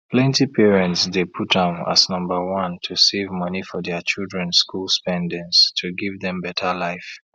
plenty parents dey put am as number one to save money for dia children school spendings to give dem better life